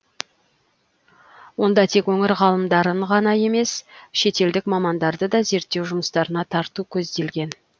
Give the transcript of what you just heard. онда тек өңір ғалымдарын ғана емес шетелдік мамандарды да зерттеу жұмыстарына тарту көзделген